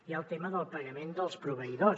hi ha el tema del pagament dels proveïdors